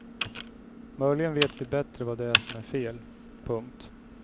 Möjligen vet vi bättre vad det är som är fel. punkt